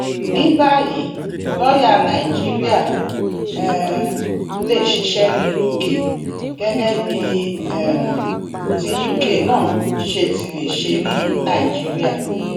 ní báyìí lọọyà nàìjíríà um lè ṣiṣẹ ní uk gẹgẹ bí um ti uk náà ṣe ti lè ṣe ní nàìjíríà